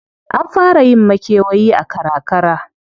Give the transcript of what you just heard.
An fara yin makewayi a karakara.